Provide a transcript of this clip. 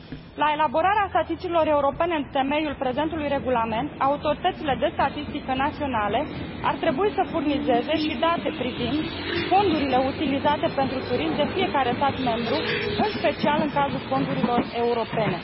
La elaborarea statisticilor europene în temeiul prezentului regulament, autoritățile de statistică naționale ar trebui să furnizeze și date privind fondurile utilizate pentru turism de fiecare stat membru, în special în cazul fondurilor europene.